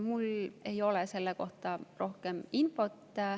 Mul ei ole selle kohta rohkem infot.